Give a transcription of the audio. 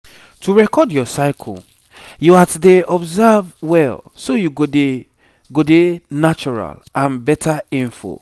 to record your cycle yoats dey observe well so you go dey go dey natural and better info